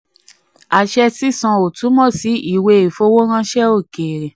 23. àṣẹ sísan ò túmọ̀ sí ìwé ìfowóránṣẹ́ òkèèrè.